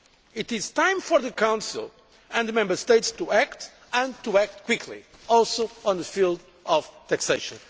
It is time for the Council and the Member States to act, and to act quickly, also in the field of taxation.